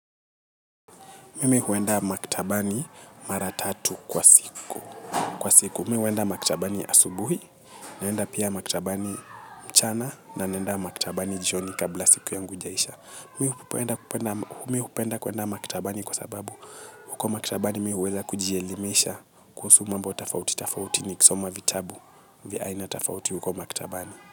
Mimi huenda maktabani mara tatu kwa siku. Kwa siku, mimi huenda maktabani asubuhi, naenda pia maktabani mchana, na naenda maktabani jioni kabla siku yangu haijaisha. Mi hupenda kuenda maktabani kwa sababu huko maktabani mi hueza kujielimisha kuhusu mambo tofauti tofauti nikisoma vitabu vya aina tafauti huko maktabani.